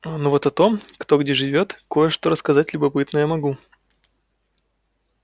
но вот о том кто где живёт кое-что рассказать любопытное могу